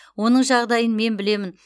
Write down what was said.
оның жағдайын мен білемін